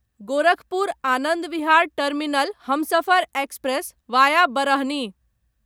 Gorakhpur Anand Vihar terminal Humsafar express via Barhani